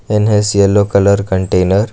Then has yellow colour container.